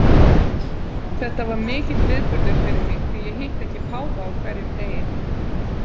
Þetta var mikill viðburður fyrir mig, því ég hitti ekki páfa á hverjum degi.